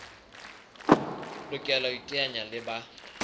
lokela ho iteanya le ba